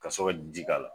Ka sɔrɔ ka ji k'a la